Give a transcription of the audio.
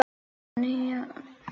Við skulum sækja um það.